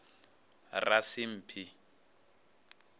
rasimphi